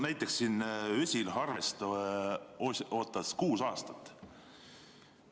Näiteks Ösel Harvest ootas kuus aastat.